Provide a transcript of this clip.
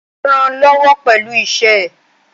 Ó rànán lọ́wọ́ pẹ̀lú iṣẹ́ ẹ̀.